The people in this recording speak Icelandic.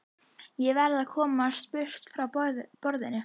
Ég verð að komast burt frá borðinu.